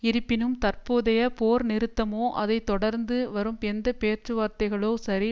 இருப்பினும் தற்போதைய போர் நிறுத்தமோ அதை தொடர்ந்து வரும் எந்த பேச்சுவார்த்தைகளோ சரி